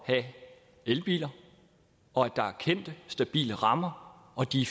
have elbiler og at der er kendte stabile rammer og at de